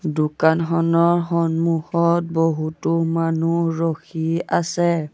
দোকানখনৰ সন্মুখত বহুতো মানুহ ৰখি আছে।